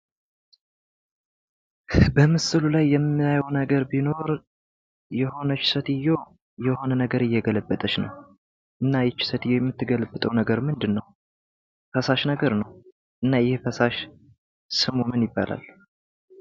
በምስሉ ላይ የምናየው ነገር ቢኖር የሆነች ሴትዮ የሆነ ነገር እየገለበጠች ነው : :እና የቺ ሴትዮ የምትገለብጠው ነገር ምንድነው ፈሳሽ ነገር ነው እና ይሄ ፈሳሽ ስሙ ምን ይባላል,?